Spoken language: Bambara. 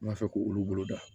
N b'a fɛ k'olu bolo da